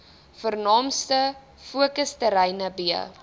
vernaamste fokusterreine b